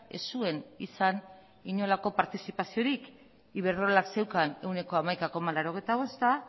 ez zuen izan inolako partizipaziorik iberdrolak zeukan ehuneko hamaika koma laurogeita bosta